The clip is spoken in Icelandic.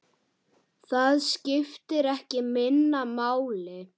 Það skiptir ekki minna máli.